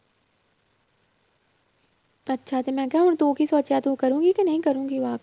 ਅੱਛਾ ਤੇ ਮੈਂ ਕਿਹਾ ਹੁਣ ਤੂੰ ਕੀ ਸੋਚਿਆ ਤੂੰ ਕਰੇਂਗੀ ਕਿ ਨਹੀਂ ਕਰੇਂਗੀ walk